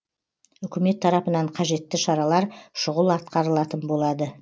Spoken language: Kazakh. үкімет тарапынан қажетті шаралар шұғыл атқарылатын болады